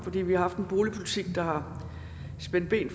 fordi vi har haft en boligpolitik der har spændt ben